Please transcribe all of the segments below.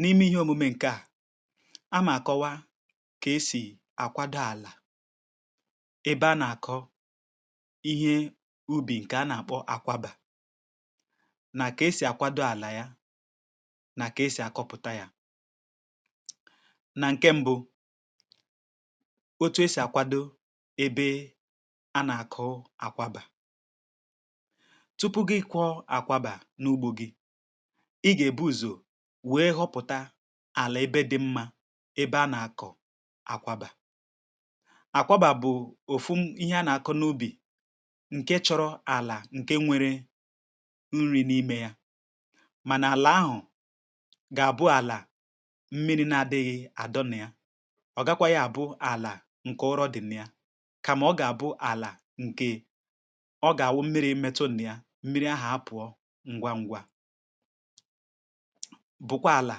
n’ime ihe omume ǹkè a a mà kọwaa kà esì àkwado àlà ebe a nà-àkọ ihe ubì ǹkè a nà-àkpọ àkwaba nà kà esì àkwado àlà ya nà kà esì àkọpụ̀ta ya nà ǹke mbụ otu esì àkwado ebe a nà-àkọ àkwaba. Tupu gị ịkwọ akwaba na ugbo gị, i gà-èbu ùzò wee họpụ̀ta àlà ebe dị mmȧ ebe a nà-àkọ̀ àkwaba. àkwaba bụ̀ òfu m ihe a nà-àkọ n’ubì ǹkè chọrọ àlà ǹkè nwere nri̇ n’imė ya mànà àlà ahụ̀ gà-àbụ àlà mmiri na-adịghị̇ adọ nà ya ọgakwa yȧ àbụ àlà ǹkè ọrọ dị̀ m naya kàmà ọ gà-àbụ àlà ǹkè ọ gà-àwụ mmiri metụ nà ya mmiri ahà apụ̀ọ ǹgwaǹgwa bụkwa àlà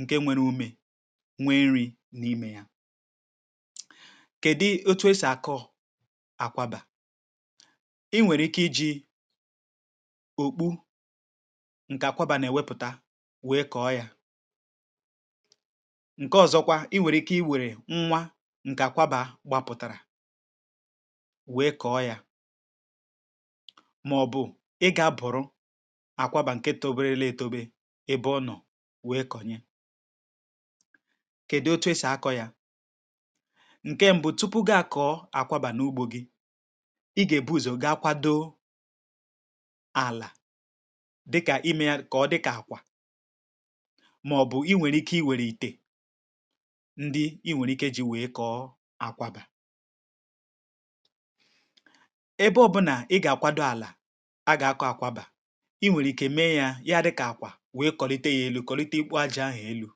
ǹke nwere umė nwee nri̇ n’imė ya kèdu otu e sì àkọ̀ àkwabà i nwèrè ike iji̇ òkpu ǹkè àkwabà nà-èwepùta wèe kọ̀ọ ya ǹke ọ̀zọkwa i wèrè ike i wèrè nwa ǹkè àkwabà gbapụ̀tàrà wèe kọ̀ọ ya nwèe kọ̀nye kèdi otu esì akọ̇ yȧ ǹke m̀bụ tupu ga-akọ̇wȧ n’àkwaba n’ugbȯ gi ị gà-èbu ùzò gị̇ àkwado àlà dịkà imė yȧ kà ọ dịkà àkwà màọ̀bụ̀ inwèrè ike inwèrè ìtè ndị inwèrè ike ji wèe kọ̀ọ àkwado ebe ọ̇bụ̇nà ị gà-àkwado àlà a gà-akọ̇ àkwado à a wụ̇ e nwèrè ike mee yȧ ǹke à dịkà àkwà wèe kọ̀lite yȧ ėlù kọ̀lite ikpȯ ajȧ ahụ̀ ėlù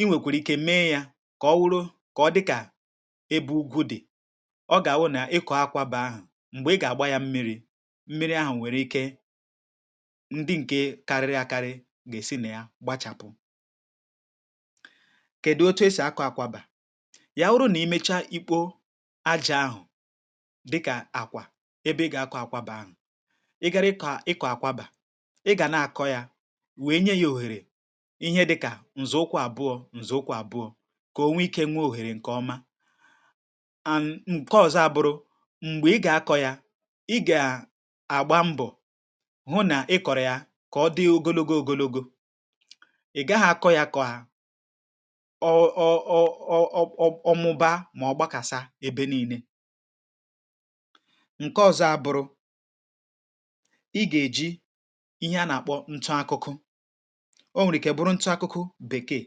inwèkwèrè ike mee yȧ kà ọ wụrụ kà ọ dịkà ebe ugwu dị̀ ọ gà-ọ nà ịkọ̀ akwaba ahụ̀ m̀gbè ị gà-àgba yȧ mmiri̇ mmiri ahụ̀ nwèrè ike ndị ǹkè karịrị àkarị gà-èsi nà ya gbachàpụ kèdụ̀ otu esì akụ̀ akwaba yà uru nà i mecha ikpo ajȧ ahụ̀ dịkà àkwà ebe ị gà-àkụ àkwaba ahụ̀ ị gara ịkọ̀ àkwaba ihẹ dịkà ǹzọ̀ ụkwụ àbụọ̇ ǹzọ̀ ụkwụ àbụọ̇ kà o nwee ike nwee òhèrè ǹkẹ̀ ọma and ǹkọ ọzọ abụrụ m̀gbè ị gà-akọ̇ ya, ị gà-agba mbọ̀ hụ nà ị kọ̀rọ̀ ya kà ọ dị ogologo ogologo ị gaghị akọ̇ ya kọ̀ọ ọ ọ ọ ọ ọmụba mà ọ gbakasa ebe nii̇nė ǹkọ ọ̀zọ ȧbụ̇rụ̇ o nwèrè ike bụrụ ntụ akụkụ bèkeè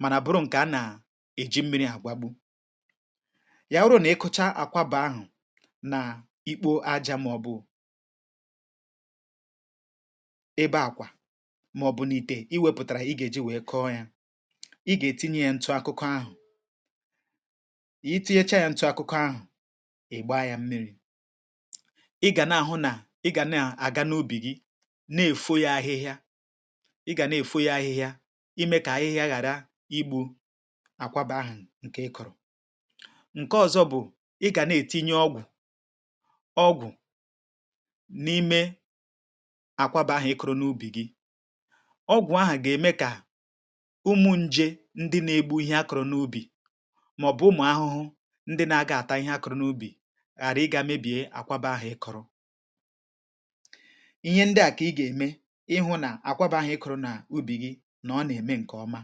mànà bụrụ ǹkè a nà-èji mmiri àgwagbu yà bụrụ nà i kụcha àkwaba ahụ nà ikpo ajȧ maọ̀bụ̀ ebe àkwà maọ̀bụ̀nị̀te i wepụ̀tàrà ị gà-èji wèe kọọ yȧ ị gà-ètinye yȧ ntụ akụkọ ahụ̀ i tinyechaa yȧ ntụ akụkọ ahụ̀ ị̀ gbaa yȧ mmiri̇ ị gà na-èfo yȧ ahịhịa imė kà ahịhịa ghàra igbu̇ àkwaba ahụ̀ ǹkè ị kọ̀rọ̀ ǹke ọzọ bụ̀ ị gà na-ètinye ọgwụ̀ ọgwụ̀ n’ime àkwaba ahụ̀ ị kọ̀rọ̀ n’ubì gi ọgwụ̀ ahà gà-ème kà ụmụ njė ndị na-egbu ihe a kọ̀rọ̀ n’ubì màọ̀bụ̀ ụmụ̀ ahụhụhụ ndị na-aga ata ihe a kọ̀rọ̀ n’ubì ghàra ị gȧ mebìe àkwaba ahụ̀ ị kọ̀rọ̀ àkwaba hȧ ị kụ̇rụ nà ubì gị nà ọ nà-ème ǹkè ọma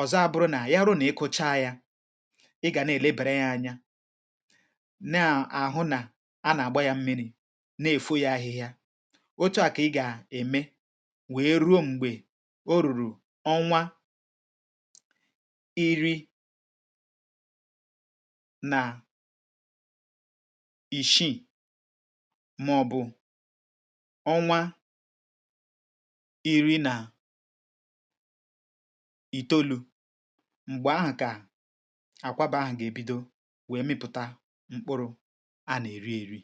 ọ̀zọ abụrụ nà yȧ ru nà-ịkọcha yȧ ị gà na-èlebèrè yȧ anya na àhụ nà a nà-àgba yȧ mmiri̇ na-èfo yȧ ahịhịa oche à kà ị gà-ème wèe ruo m̀gbè o rùrù ọnwa iri̇ nà ìshii màọ̀bụ̀ ọnwa iri nà̇ itolu̇ m̀gbè ahụ̀ kà àkwaba ahụ̀ gà-ebido wèe mịpụ̀ta mkpụrụ̇ a nà-èri ėri̇